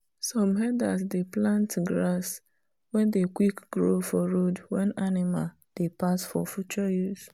some herders dey plant grass wen dey quick grow for road wen animal dey pass for future use.